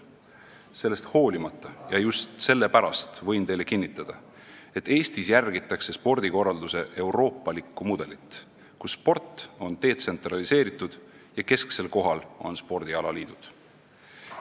Võin teile kinnitada, et nii on läinud just selle pärast, et Eestis järgitakse spordikorralduse euroopalikku mudelit, kus sport on detsentraliseeritud ja kesksel kohal on spordialaliidud.